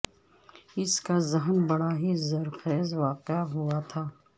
ان کا ذھن بڑا ھی زر خیز واقع ھوا تھا